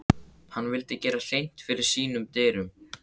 Hann vildi gera hreint fyrir sínum dyrum.